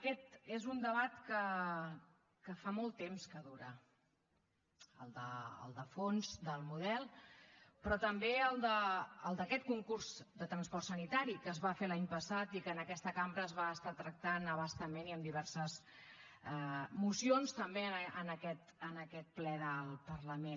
aquest és un debat que fa molt temps que dura el de fons del model però també el d’aquest concurs de transport sanitari que es va fer l’any passat i que en aquesta cambra es va estar tractant a bastament i amb diverses mocions també en aquest ple del parlament